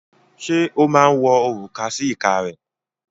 Ṣé ó máa ń wọ òrùka sí ìka rẹ̀?